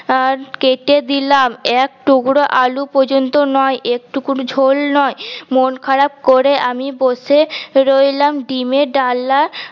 আহ কেটে দিলাম এক টুকরো আলু পর্যন্ত নয় এক টুক ঝোল নয় মন খারাপ করে আমি বসে রইলাম ডিমের ডালনা